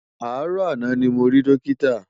Aárò àná ni mó ri Dókitá